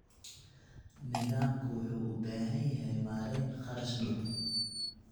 Nidaamku wuxuu u baahan yahay maarayn kharash dhow.